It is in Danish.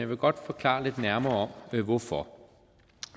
vil godt forklare lidt nærmere hvorfor